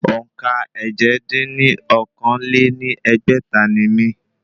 Òǹkà èje dín ní okòó-lé-ní-ẹgbẹ́ta ni mí